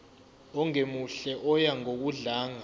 ongemuhle oya ngokudlanga